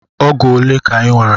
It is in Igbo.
Ọgụ ole ka Ị nwere?